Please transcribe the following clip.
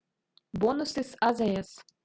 бонусы с азс